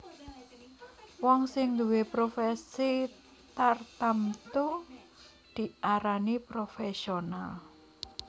Wong sing nduwé profèsi tartamtu diarani profèsional